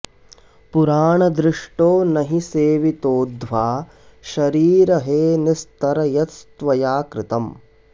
पुराणदृष्टो न हि सेवितोऽध्वा शरीर हे निस्तर यत्त्वया कृतम्